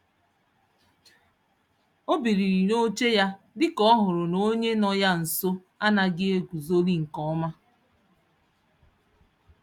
O biliri n'oche ya, dika ọhụrụ na onye no ya nso anaghị eguzoli nke ọma